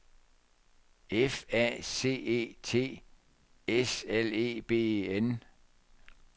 F A C E T S L E B E N